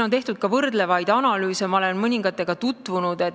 On tehtud võrdlevaid analüüse ja ma olen mõningatega tutvunud.